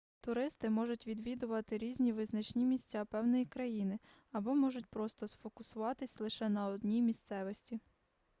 туристи можуть відвідати різні визначні місця певної країни або можуть просто сфокусуватись лише на одній місцевості